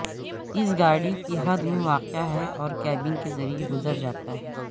اس گاڑی کی حد میں واقع ہے اور کیبن کے ذریعے گزر جاتا ہے